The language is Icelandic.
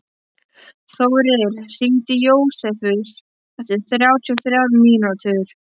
Þórir, hringdu í Jósefus eftir þrjátíu og þrjár mínútur.